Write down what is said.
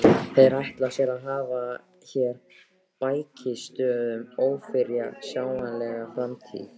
Þeir ætla sér að hafa hér bækistöð um ófyrirsjáanlega framtíð!